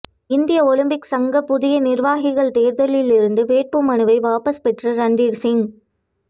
இந்திய ஒலிம்பிக் சங்க புதிய நிர்வாகிகள் தேர்தலில் இருந்து வேட்பு மனுவை வாபஸ் பெற்ற ரந்தீர்சிங்